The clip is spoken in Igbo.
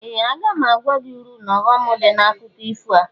Ee! Aga m agwa gị uru n'ọghọm dị n'akụkọ ifo a.